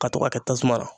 Ka to ka kɛ tasuma la